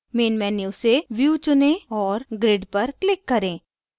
main menu से view चुनें और grid पर click करें